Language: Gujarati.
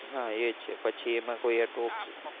હા એ છે પછી એમાં કોઈ સાટું